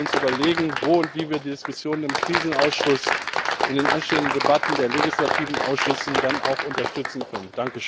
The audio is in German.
Wir müssen uns überlegen, wo und wie wir die Diskussionen im Krisenausschuss in den anstehenden Debatten der legislativen Ausschüsse dann auch unterstützen können.